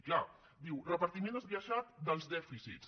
és clar diu repartiment esbiaixat dels dèficits